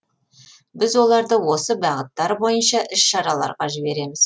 біз оларды осы бағыттар бойынша іс шараларға жібереміз